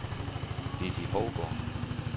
Lizzi Hougaard